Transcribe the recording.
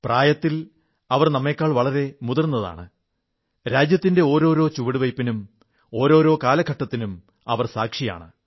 പ്രായത്തിൽ അവർ നമ്മെക്കാൾ വളരെ മുതിർന്നതാണ് രാജ്യത്തിന്റെ ഓരോരോ ചുവടുവയ്പ്പിനും ഓരോരോ കാലഘട്ടത്തിനും അവർ സാക്ഷിയാണ്